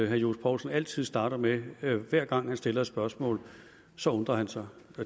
herre johs poulsen altid starter med hver gang han stiller et spørgsmål så undrer han sig